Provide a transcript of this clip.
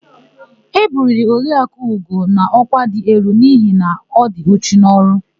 E buliri Oriakụ Ugo n'ọkwa dị elu n'ihi na ọ dị uchu n'ọrụ.